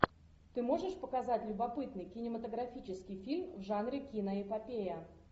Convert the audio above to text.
ты можешь показать любопытный кинематографический фильм в жанре киноэпопея